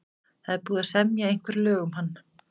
Það er búið að semja einhver lög um hann.